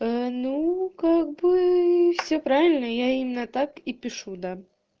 ну как бы все правильно я именно так и пишу да